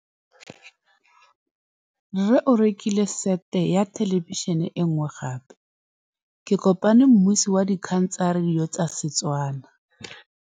Rre o rekile sete ya thêlêbišênê e nngwe gape. Ke kopane mmuisi w dikgang tsa radio tsa Setswana.